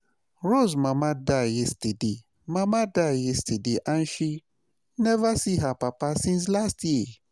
Rose mama die yesterday mama die yesterday and she never see her papa since last year